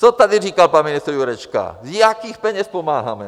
Co tady říkal pan ministr Jurečka, z jakých peněz pomáháme.